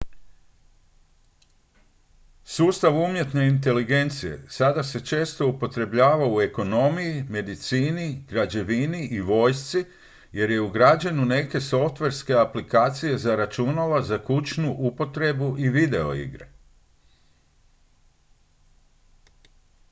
sustav umjetne inteligencije sada se često upotrebljava u ekonomiji medicini građevini i vojsci jer je ugrađen u neke softverske aplikacije za računala za kućnu upotrebu i videoigre